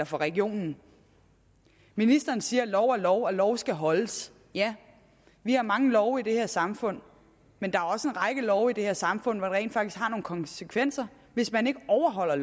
for regionen ministeren siger at lov er lov og lov skal holdes ja vi har mange love i det her samfund men der er også en række love i det her samfund hvor det rent faktisk har nogle konsekvenser hvis man ikke overholder